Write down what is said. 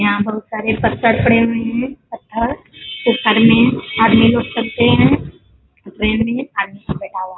यहाँ बहुत सारे पत्थर पड़े हुए हैं | पत्थर आदमी लोग सब हैं | ट्रैन में आदमी सब बैठा हुआ है |